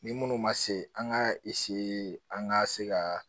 Ni minnu ma se an ka an ka se ka